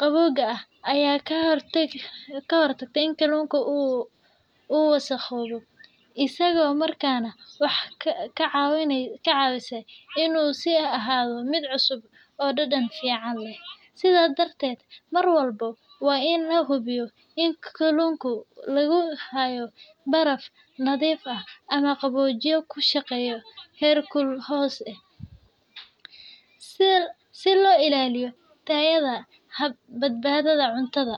qabowga ah ayaa ka hortagta in kalluunka uu wasakhoobo, isla markaana waxay ka caawisaa in uu sii ahaado mid cusub oo dhadhan fiican leh. Sidaa darteed, mar walba waa in la hubiyaa in kalluunka lagu hayo baraf nadiif ah ama qaboojiye ku shaqeeya heerkul hoose, si loo ilaaliyo tayada iyo badbaadada cunnada.